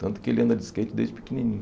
Tanto que ele anda de skate desde pequenininho.